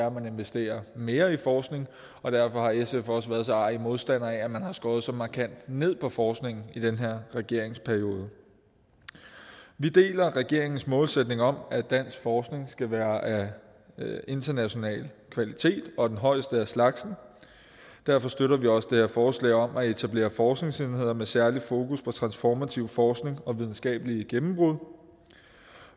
at man investerer mere i forskning og derfor har sf også været så arrig en modstander af at man har skåret så markant ned på forskningen i den her regeringsperiode vi deler regeringens målsætning om at dansk forskning skal være af international kvalitet og den højeste af slagsen derfor støtter vi også det her forslag om at etablere forskningsenheder med særlig fokus på transformativ forskning og videnskabelige gennembrud